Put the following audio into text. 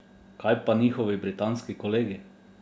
Kaj pa njihovi britanski kolegi?